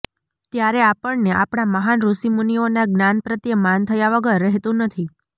ત્યારે આપણને આપણા મહાન ઋષિમુનિઓના જ્ઞાન પ્રત્યે માન થયા વગર રહેતું નથી